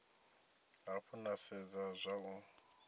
hafhu na sedza zwa u